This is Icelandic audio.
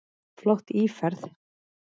Flott íferð.